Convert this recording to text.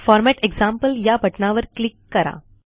format example या बटणावर click करा